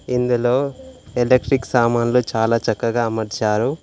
ఇందులో ఎలక్ట్రిక్ సామాన్లు చాలా చక్కగా అమర్చారు.